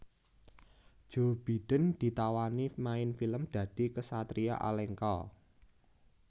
Joe Biden ditawani main film dadi ksatria Alengka